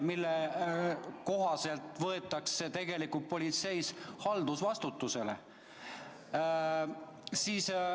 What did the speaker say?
Selle eest võetakse tegelikult politseis haldusvastutusele.